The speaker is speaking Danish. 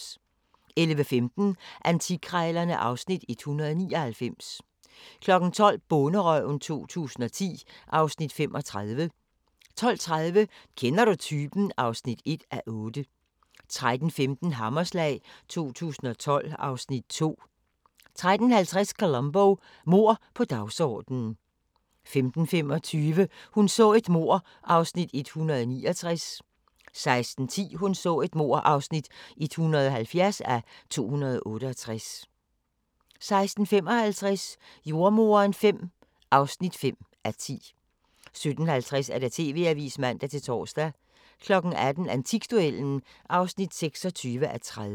11:15: Antikkrejlerne (Afs. 199) 12:00: Bonderøven 2010 (Afs. 35) 12:30: Kender du typen? (1:8) 13:15: Hammerslag 2012 (Afs. 2) 13:50: Columbo: Mord på dagsordenen 15:25: Hun så et mord (169:268) 16:10: Hun så et mord (170:268) 16:55: Jordemoderen V (5:10) 17:50: TV-avisen (man-tor) 18:00: Antikduellen (26:30)